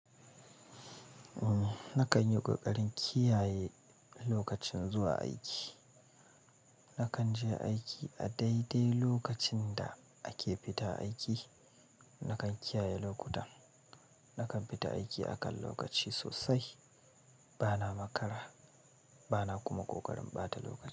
Na kan yi ƙoƙarin kiyaye lokacin zuwa aiki. Na kan je aiki a daidai lokacin da ake fita aiki. Na kan kiyaye lokuta, na kan fita aiki a kan lokaci sosai. Bana makara, bana kuma ƙoƙarin ɓata lokaci.